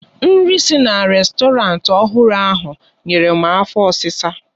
Nri si na rèstọrantị ọhụrụ ahụ nyere m afo ọsisa